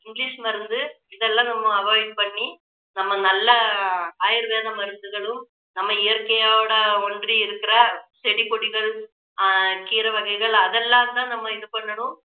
english மருந்து இதெல்லாம் நம்ம avoid பண்ணி நம்ம நல்ல ஆயுர்வேத மருந்துகளும் நம்ம இயற்கையோட ஒன்றி இருக்கிற செடி கொடிகள் அஹ் கீரை வகைகள் அதெல்லாம் தான் நம்ம இது பண்ணணும்